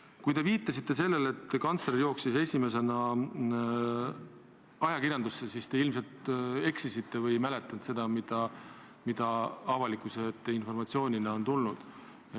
Kui te viitasite sellele, et kantsler jooksis esiteks ajakirjanike juurde, siis te ilmselt eksisite või ei mäletanud seda, mis avalikkuse ette informatsioonina on jõudnud.